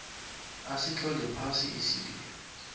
asitlole phasi isililo